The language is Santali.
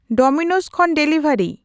ᱰᱚᱢᱤᱱᱳᱥ ᱠᱷᱚᱱ ᱰᱮᱞᱤᱵᱷᱟᱨᱤ